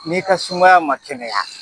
N'i ka sumaya man kɛnɛya